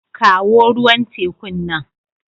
Kawo ruwan tekun nan.